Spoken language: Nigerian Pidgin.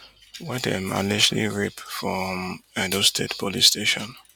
wey dem allegedly rape for um edo state police station